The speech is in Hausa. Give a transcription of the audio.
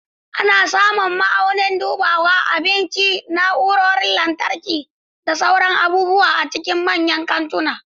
Ana samun ma'aunin dubawa, abinci, na'urorin lantarki, da sauran abubuwa a cikin manyan kantuna.